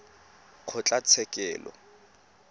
kgotlatshekelo